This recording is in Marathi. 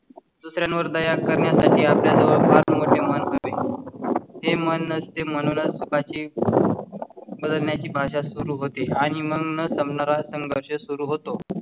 दुसऱ्या वर दया करण्यासाठी आपल्या जवळ फार मोठे मन हवे ते मन असते म्हणूनच बदलण्याची भाषा सुरु होते आणि मग म्हणून संपणार असा संघर्ष सुरु होतो.